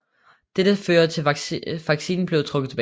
Dette førte til at vaccinen blev trukket tilbage